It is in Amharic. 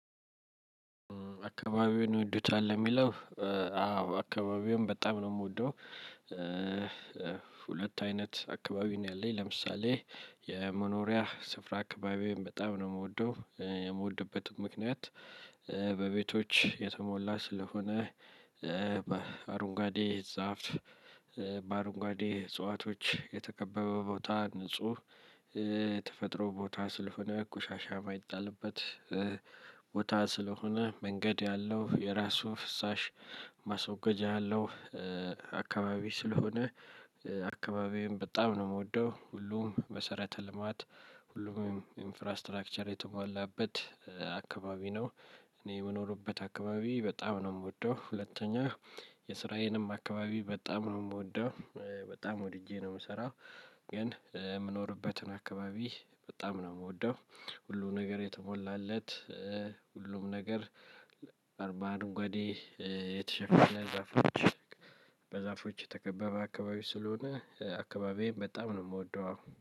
አካባቢውን ይወዱታል? ለሚለው አዎ! አካባቢውን በጣም ነው የምወደው ሁለት አይነት አካባቢ ነው ያለኝ። ለምሳሌ: የመኖሪያ ስፍራ አካባቢዬን በጣም ነው የምወደው። የምወድበት ምክንያት በቤቶች የተሞላ ስለሆነ በአረንጓዴ ዛፍ በአረንጓዴ እጽዋቶች የተከበበ ቦታ ንጹህ ተፈጥሮ ቦታ ስለሆነ ቆሻሻ የማይጣልበት ቦታ ስለሆነ መንገድ ያለው የራሱ ፍሳሽ ማስወገጃ ያለው አካባቢ ስለሆነ አካባቢዬን በጣም ነው የምወደው። ሁሉም መሰረተ ልማት ሁሉም ኢንፍራስትራክቸር የተሟላበት አካባቢ ነው። እኔ የምኖርበት አካባቢ በጣም ነው የምወደው። ሁለተኛ የስራዬንም አካባቢ በጣም ነው የምወደው። በጣም ወድጄ ነው የምሰራው። ግን የምኖርበትን አካባቢ በጣም ነው የምወደው። ሁሉም ነገር የተሞላለት ሁሉም ነገር በአረንጓዴ የተሸፈነ በዛፎች የተከበበ ስለሆን አካባቢዬን በጣም ነው የምወደው አሁን።